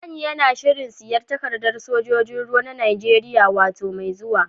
Danny yana shirin siyan takaddan sojoji'n ruwa na Nijeriya wota mai zuwa.